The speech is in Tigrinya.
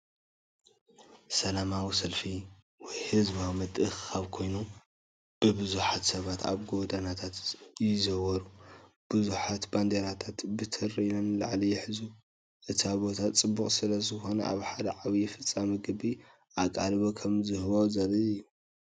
ሰላማዊ ሰልፊ ወይ ህዝባዊ ምትእኽኻብ ኮይኑ፡ ብዙሓት ሰባት ኣብ ጎደናታት ይዘውሩ። ብዙሓት ባንዴራታትን በትሪን ንላዕሊ ይሕዙ። እቲ ቦታ ጽዑቕ ስለ ዝኾነ ኣብ ሓደ ዓቢ ፍጻመ ዓቢ ኣቓልቦ ከም ዝወሃቦ ዘርኢ እዩ።